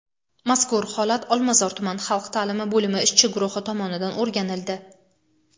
mazkur holat Olmazor tuman xalq ta’limi bo‘limi ishchi guruhi tomonidan o‘rganildi.